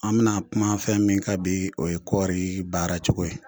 An bɛna kumafɛn min ka bi o ye kɔɔri baaracogo ye